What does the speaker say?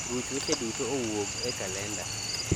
ruch weche duto owuog e kalenda